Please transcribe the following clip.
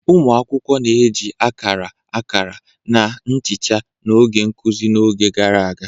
Ụmụ akwụkwọ na-eji akara, akara, na nchicha n'oge nkuzi n'oge gara aga.